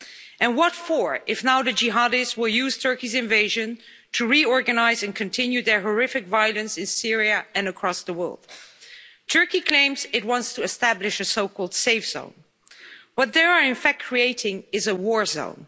And what for if now the jihadis use Turkey's invasion to reorganise and to continue their horrific violence in Syria and across the world? Turkey claims it wants to establish a so called safe zone, but what they are in fact creating is a war zone.